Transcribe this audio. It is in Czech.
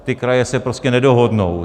Ty kraje se prostě nedohodnou.